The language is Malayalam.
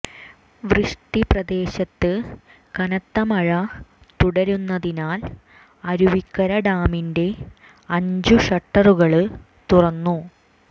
വൃഷ്ടി പ്രദേശത്ത് കനത്ത മഴ തുടരുന്നതിനാൽ അരുവിക്കര ഡാമിന്റെ അഞ്ച് ഷട്ടറുകള് തുറന്നു